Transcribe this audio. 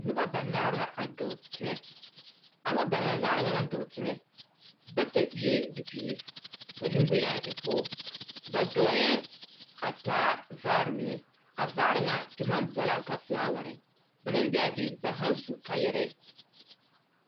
Noba banaare la a dɔɔ teŋɛ. A noba banaare ŋa naŋ dɔɔ teŋɛ, bata eɛɛ bibiiri, ka neboyeŋ aŋ e pɔɔ. Ba dɔɔyɛ a taa vaare mine. A vaare ŋa te maŋ boɔlaaŋ ka felaware. Ba naŋ be a be, ba haaŋ su kaayɛrɛɛ.